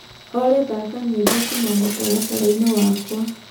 olly thaka nyĩmbo kũũma mũtarataraĩnĩ wakwa